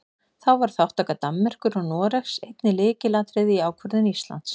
Þá var þátttaka Danmerkur og Noregs einnig lykilatriði í ákvörðun Íslands.